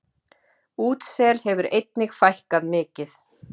Útsel hefur einnig fækkað mikið.